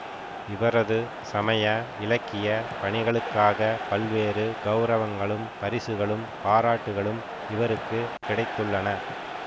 இவரது சமய இலக்கிய பணிகளுக்காக பல்வேறு கெளரவங்களும் பரிசுகளும் பாராட்டுகளும் இவருக்கு கிடைத்துள்ளன